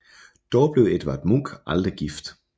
Dog blev Edvard Munch aldrig gift